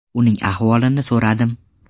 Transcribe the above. Uning ahvolini so‘radim.